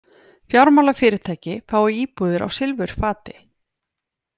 Fjármálafyrirtæki fái íbúðir á silfurfati